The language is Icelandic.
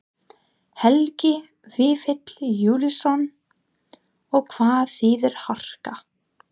Helgi Vífill Júlíusson: Og hvað þýðir harka?